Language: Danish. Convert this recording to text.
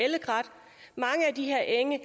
de her enge